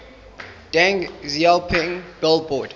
deng xiaoping billboard